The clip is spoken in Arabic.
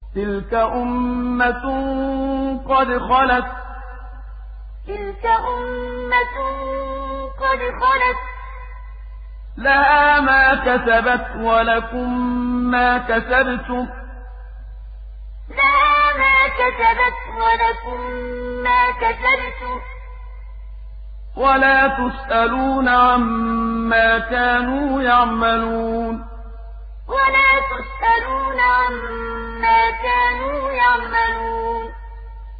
تِلْكَ أُمَّةٌ قَدْ خَلَتْ ۖ لَهَا مَا كَسَبَتْ وَلَكُم مَّا كَسَبْتُمْ ۖ وَلَا تُسْأَلُونَ عَمَّا كَانُوا يَعْمَلُونَ تِلْكَ أُمَّةٌ قَدْ خَلَتْ ۖ لَهَا مَا كَسَبَتْ وَلَكُم مَّا كَسَبْتُمْ ۖ وَلَا تُسْأَلُونَ عَمَّا كَانُوا يَعْمَلُونَ